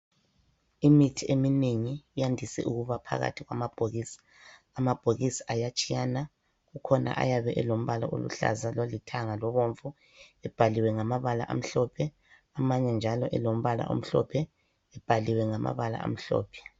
Imithi eminengi iyandise ukuba phakathi kwamabhokisi. Amabhokisi ayatshiyana kukhona ayabe elombala oluhlaza ,lolithanga lobomvu ebhaliwe ngamabala amhlophe. Amanye njalo elombala omhlophe ebhaliwe ngamabala amhlophe.